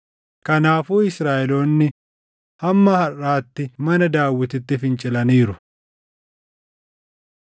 Kanaafuu Israaʼeloonni hamma harʼaatti mana Daawititti fincilaniiru.